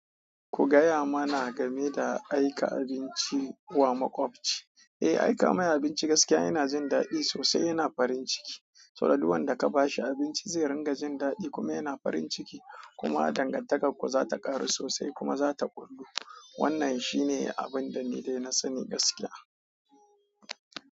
Ku gaya mana game da aika abinci wa makwabci. Eh, aika mai abinci gaskiya yana jin daɗi sosai yana farin ciki, saboda duk wanda ka ba shi abinci zai rinƙa jin daɗi kuma yana farin ciki kuma dangantakarku za ta ƙaru sosai kuma za ta gurgu. Wannan shi ne abin da ni dai na sani gaskiya.